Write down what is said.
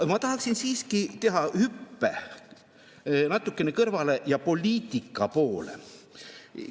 Aga ma tahaksin siiski teha hüppe natukene kõrvale, poliitika poole.